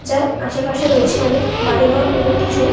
যার আশেপাশে রয়েছে অনেক বাড়িঘর এবং কিছু-উ--